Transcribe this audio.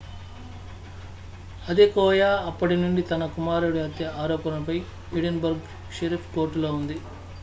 Adekoya అప్పటి నుండి తన కుమారుడిహత్య ఆరోపణపై ఎడిన్ బర్గ్ షెరీఫ్ కోర్టులో ఉంది